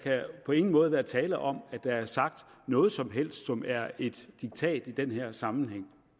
på ingen måde kan være tale om at der er sagt noget som helst som er et diktat i den her sammenhæng